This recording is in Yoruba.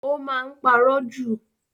O máa n parọ ju.